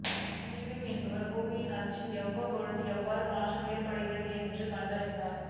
கிடின்னு என்பவர் பூமியின் அச்சில் அவ்வப்பொழுது எவ்வாறு மாற்றம் ஏற்படுகிறது என்று கண்டறிந்தார்